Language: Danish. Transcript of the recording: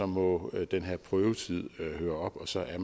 må den her prøvetid høre op og så er